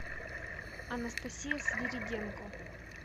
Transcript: анастасия свириденко